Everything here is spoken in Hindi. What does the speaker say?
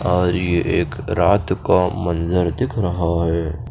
और ये एक रात का मंजर दिख रहा है।